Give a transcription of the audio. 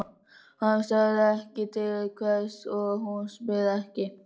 Hann sagði ekki til hvers og hún spurði ekki.